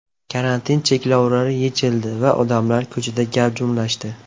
Karantin cheklovlari yechildi va odamlar ko‘chada gavjumlashdi.